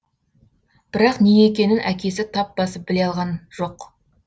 бірақ не екенін әкесі тап басып біле алған жоқ